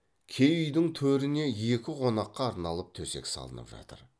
кей үйдің төріне екі қонаққа арналып төсек салынып жатыр